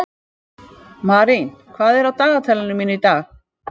Marín, hvað er á dagatalinu mínu í dag?